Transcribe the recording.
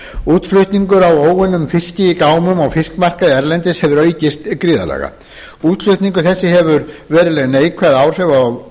útflutningur á óunnum fiski í gámum á fiskmarkaði erlendis hefur aukist gríðarlega útflutningur þessi hefur verulega neikvæð áhrif